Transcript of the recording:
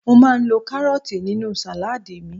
mo ma n lo karọọti ninu saladi mi